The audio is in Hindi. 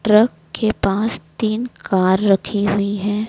ट्रक के पास तीन कार रखी हुई हैं।